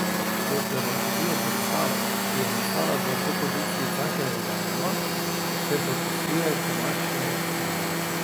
Pod dramaturgijo predstave, ki je nastala v koprodukciji Cankarjevega doma, se podpisuje Tomaž Letnar.